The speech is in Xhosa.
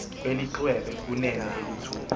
kwelixwebe kunene eluthuli